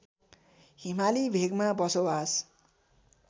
हिमाली भेगमा बसोवास